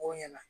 O ɲɛna